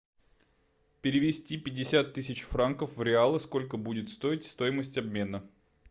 перевести пятьдесят тысяч франков в реалы сколько будет стоить стоимость обмена